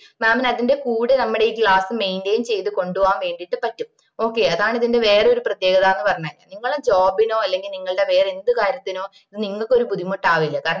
mam ന് അതിന്റെ കൂടെ നമ്മടെ ഈ class maintain ചെയ്ത് കൊണ്ടോവാൻ വേണ്ടിട്ട് പറ്റും okay അതാണ് ഇതിന്റെ വേറെ ഒരു പ്രത്യേകതാന് പറഞ്ഞേ നിങ്ങള്ടെ job നോ അല്ലെങ്കിൽ നിങ്ങള്ടെ വേറെ എന്ത് കാര്യത്തിനോ നിങ്ങക്ക് ഒരു ബുദ്ധിമുട്ടാവില്ല